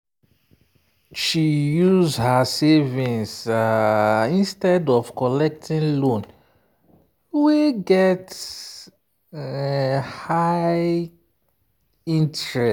she use her savings um instead of collecting loan wey get um high interest.